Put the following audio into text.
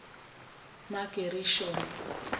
magerishoni